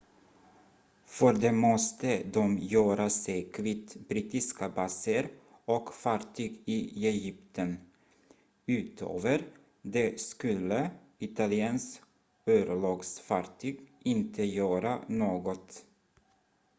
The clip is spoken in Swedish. för det måste de göra sig kvitt brittiska baser och fartyg i egypten utöver det skulle italiens örlogsfartyg inte göra något